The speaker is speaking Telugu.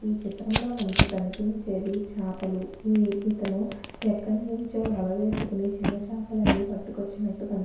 ఈ చిత్రంలో మనకు కనిపించేది చాపలు ఇతను యెక్కడనుంచో వలవేసుకొని చిన్నచాపలనీ పట్టుకొచ్చినటు కని --